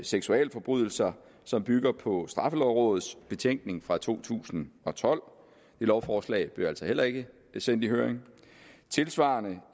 seksualforbrydelser som bygger på straffelovrådets betænkning fra to tusind og tolv det lovforslag blev altså heller ikke sendt i høring tilsvarende